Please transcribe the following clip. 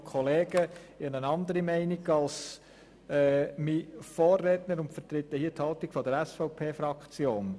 Ich habe eine andere Meinung als mein Vorredner und vertrete hier die Haltung der SVPFraktion.